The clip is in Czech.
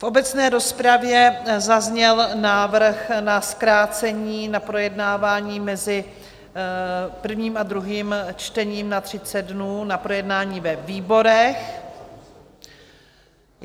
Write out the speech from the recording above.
V obecné rozpravě zazněl návrh na zkrácení na projednávání mezi prvním a druhým čtením na 30 dnů na projednání ve výborech.